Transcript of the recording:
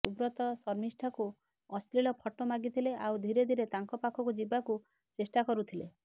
ସୁବ୍ରତ ଶର୍ମିଷ୍ଠାଙ୍କୁ ଅଶ୍ଲିଳ ଫଟୋ ମାଗିଥିଲେ ଆଉ ଧିରେ ଧିରେ ତାଙ୍କ ପାଖକୁ ଯିବାକୁ ଚେଷ୍ଟା କରୁଥିଲେ